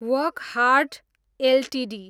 Wockhardt Ltd